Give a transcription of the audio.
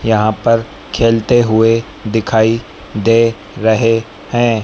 यहां पर खेलते हुए दिखाई दे रहे हैं।